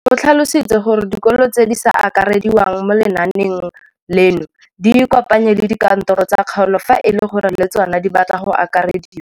O tlhalositse gore dikolo tse di sa akarediwang mo lenaaneng leno di ikopanye le dikantoro tsa kgaolo fa e le gore le tsona di batla go akarediwa.